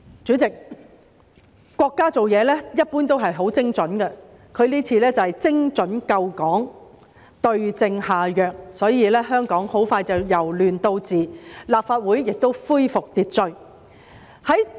主席，國家做事一般都很精準，這次便是精準救港，對症下藥，所以香港很快便"由亂到治"，立法會亦恢復秩序。